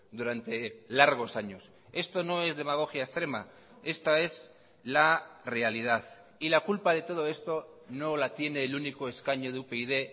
durante largos años esto no es demagogia extrema esta es la realidad y la culpa de todo esto no la tiene el único escaño de upyd